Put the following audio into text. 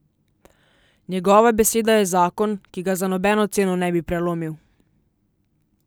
Njegova beseda je zakon, ki ga za nobeno ceno ne bi prelomil.